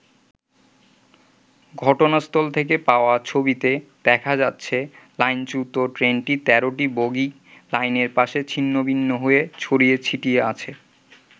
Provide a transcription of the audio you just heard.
ঘটনাস্থল থেকে পাওয়া ছবিতে দেখা যাচ্ছে লাইন-চ্যুত ট্রেনটির তেরোটি বগিই লাইনের পাশে ছিন্নভিন্ন হয়ে ছড়িয়ে ছিটিয়ে আছে।